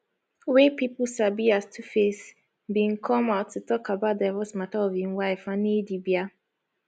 wey pipo sabi as tuface bin come out to tok about divorce mata of im wife annie idibia